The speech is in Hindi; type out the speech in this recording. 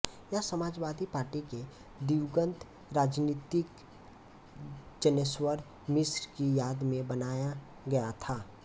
यह समाजवादी पार्टी के दिवंगत राजनीतिज्ञ जनेश्वर मिश्र की याद में बनाया गया था